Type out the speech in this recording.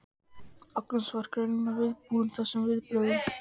Agnes var greinilega viðbúin þessum viðbrögðum.